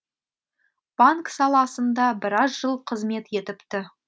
банк саласында біраз жыл қызмет етіпті